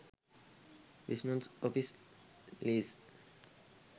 business office lease